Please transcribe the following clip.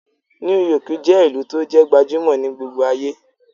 New York je ìlú to jẹ́ gbajumo ni gbogbo aye